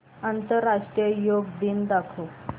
आंतरराष्ट्रीय योग दिन दाखव